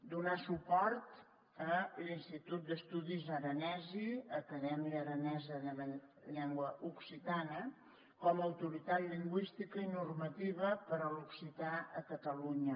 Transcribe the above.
donar suport a l’institut d’estudis aranesi acadèmia aranesa de la llengua occitana com a autoritat lingüística i normativa per a l’occità a catalunya